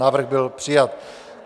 Návrh byl přijat.